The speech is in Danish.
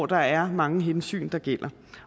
der er mange hensyn der gælder